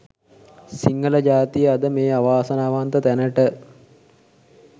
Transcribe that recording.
සිංහල ජාතිය අද මේ අවාසනාවන්ත තැනට